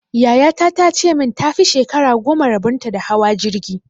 Yaya ta ta ce min ta fi shekara goma rabon ta da hawa jirgi!